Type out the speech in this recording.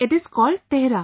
It is called Tehra